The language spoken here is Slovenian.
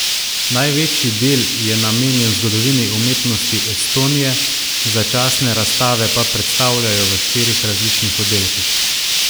Največji del je namenjen zgodovini umetnosti Estonije, začasne razstave pa predstavljajo v štirih različnih oddelkih.